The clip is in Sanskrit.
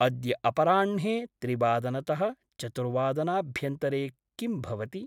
अद्य अपराह्णे त्रिवादनतः चतुर्वादनाभ्यन्तरे किं भवति?